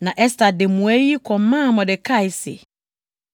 Na Ɛster de mmuae yi kɔmaa Mordekai se,